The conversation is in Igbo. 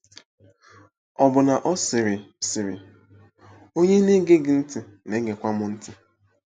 Ọbụna ọ sịrị: sịrị: “ Onye na-ege gị ntị na-egekwa m ntị.